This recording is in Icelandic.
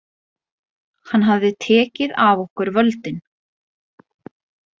Hann hafði tekið af okkur völdin.